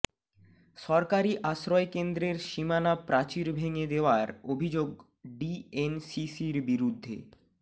সরকারি আশ্রয়কেন্দ্রের সীমানা প্রাচীর ভেঙে দেওয়ার অভিযোগ ডিএনসিসির বিরুদ্ধে